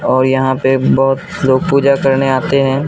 और यहां पे बहुत लोग पूजा करने आते हैं।